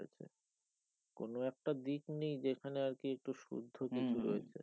কোন একটা দিক নেই যেখানে আর কি একটু শুদ্ধ কিছু রয়েছে